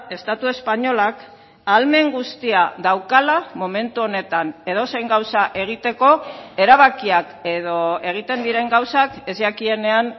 estatu espainolak ahalmen guztia daukala momentu honetan edozein gauza egiteko erabakiak edo egiten diren gauzak ez jakienean